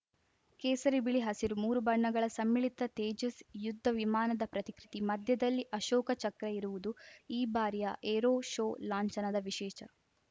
ಕೇಸರಿ ಬಿಳಿ ಹಸಿರು ಮೂರು ಬಣ್ಣಗಳ ಸಮ್ಮಿಳಿತ ತೇಜಸ್‌ ಯುದ್ಧವಿಮಾನದ ಪ್ರತಿಕೃತಿ ಮಧ್ಯದಲ್ಲಿ ಅಶೋಕ ಚಕ್ರ ಇರುವುದು ಈ ಬಾರಿಯ ಏರೋ ಶೋ ಲಾಂಛನದ ವಿಶೇಷ